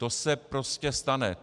To se prostě stane.